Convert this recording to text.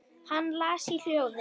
Hann las í hljóði